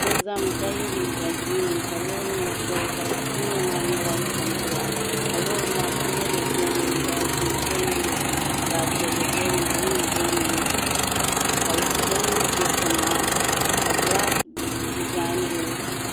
so zami ka ya liga Corinna tiŋli maa nya zap piɛlli zaɣ' sabilin SAP's dozing bɛnika SAP's zɛi beni zaɣ' piɛli beni SAP's vakali beni ka shɛli mi ʒɛ tiŋa ka zʋɣ' sablin bini